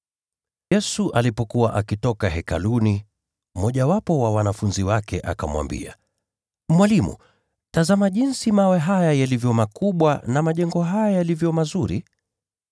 Yesu alipokuwa akitoka Hekaluni, mmojawapo wa wanafunzi wake akamwambia, “Mwalimu! Tazama jinsi mawe haya yalivyo makubwa, na majengo haya yalivyo mazuri!”